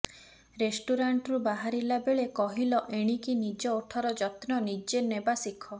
ରେଷ୍ଟୁରାଣ୍ଟରୁ ବାହାରିଲା ବେଳେ କହିଲ ଏଣିକି ନିଜ ଓଠର ଯତ୍ନ ନିଜେ ନେବା ସିଖ